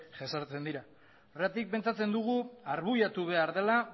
jesartzen dira horregatik pentsatzen dugu argudiatu behar dela